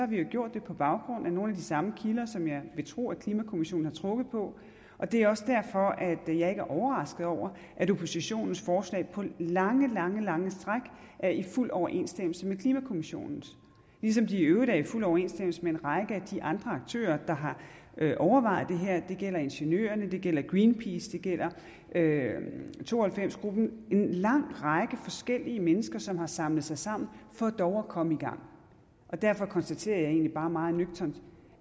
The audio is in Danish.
vi jo gjort det på baggrund af nogle af de samme kilder som jeg vil tro at klimakommissionen har trukket på og det er også derfor jeg ikke er overrasket over at oppositionens forslag på lange lange lange stræk er i fuld overensstemmelse med klimakommissionens ligesom de i øvrigt er i fuld overensstemmelse med en række af de andre aktører der har overvejet det her det gælder ingeniørerne det gælder greenpeace det gælder to og halvfems gruppen en lang række forskellige mennesker som har samlet sig sammen for dog at komme i gang derfor konstaterer jeg egentlig bare meget nøgternt